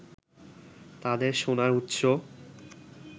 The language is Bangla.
তাদের সোনার উৎস